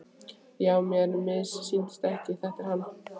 Já, mér missýnist ekki, þetta er hann.